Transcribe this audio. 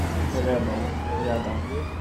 рэбэл рядом